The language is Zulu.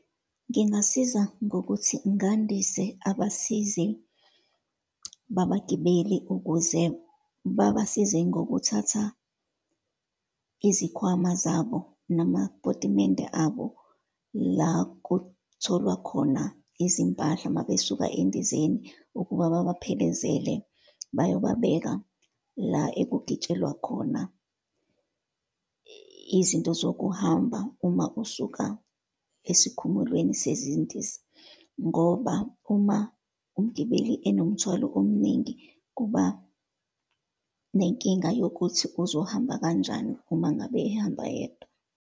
Ngangasiza ngokuthi ngandise abasizi babagibeli, ukuze babesize ngokuthatha izikhwama zabo namapotimende abo, la kutholwa khona izimpahla uma besuka endizeni, ukuba babephelezele bayobabeka la ekugitshekwa khona izinto zokuhamba uma usuka esikhumulweni sezindiza. Ngoba, uma umgibeli enomthwalo ominingi kuba nenkinga yokuthi uzohamba kanjani uma ngabe ehamba yedwa.